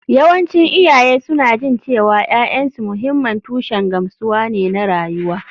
Yawancin iyaye suna jin cewa ’ya’yansu mahimman tushen gamsuwa ne na rayuwa